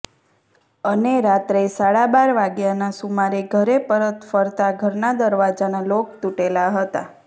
અને રાત્રે સાડા બાર વાગ્યાના સુમારે ઘરે પરત ફરતાં ઘરના દરવાજાના લોક તૂટેલા હતા